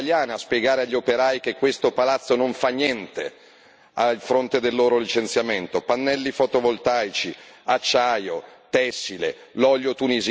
Vada il Commissario, vada il Ministro fuori da un'azienda siderurgica italiana a spiegare agli operai che questo palazzo non fa niente a fronte del loro licenziamento.